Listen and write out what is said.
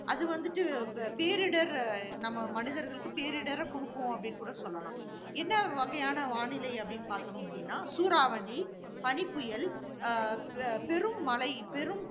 அது வந்துட்டு, பேரிடர் அஹ் நம்ம மனிதர்களுக்கு பேரிடரை கொடுக்கும் அப்படின்னு கூட சொல்லலாம். என்ன வகையான வானிலை அப்படின்னு பார்த்தோம் அப்படின்னா? சூறாவளி, பனிப்புயல், அஹ் பெ~ பெருமழை, பெரும்